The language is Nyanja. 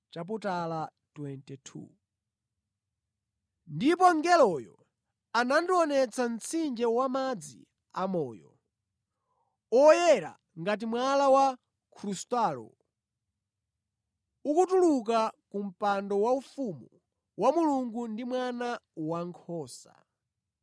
Ndipo mngeloyo anandionetsa mtsinje wamadzi amoyo, oyera ngati mwala wa krustalo ukutuluka ku mpando waufumu wa Mulungu ndi wa Mwana Wankhosa,